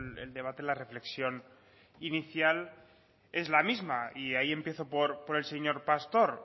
el debate la reflexión inicial es la misma y ahí empiezo por el señor pastor